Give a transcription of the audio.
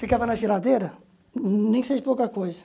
Ficava na geladeira, nem que seja pouca coisa.